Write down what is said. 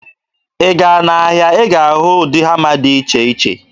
Ị gaa n'ahịa, ị ga-ahụ ụdị hama dị iche iche.